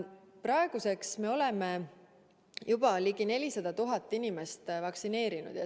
Praeguseks me oleme juba ligi 400 000 inimest vaktsineerinud.